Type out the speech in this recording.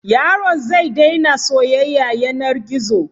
Yaron zai daina soyyaya yanar gizo.